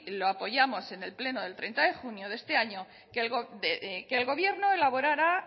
lo apoyamos en el pleno de treinta de junio de este año que el gobierno elaborara